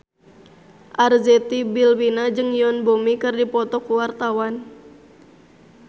Arzetti Bilbina jeung Yoon Bomi keur dipoto ku wartawan